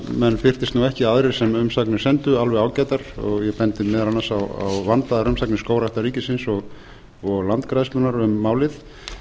menn fyrtist nú ekki aðrir sem umsagnir sendu alveg ágætar og ég bendi meðal annars á vandaðar umsagnir skógræktar ríkisins og landgræðslunnar um málið